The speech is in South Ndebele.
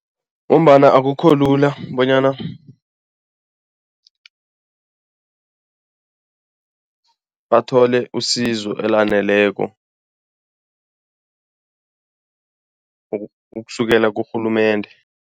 Ngombana akukho lula bonyana bathole usizo elaneleko ukusukela kurhulumende.